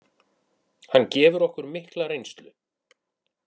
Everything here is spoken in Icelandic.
Hann gefur okkur mikla reynslu.